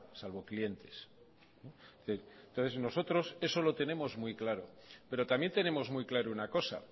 salvo clientes entonces nosotros eso lo tenemos muy claro pero también tenemos muy claro una cosa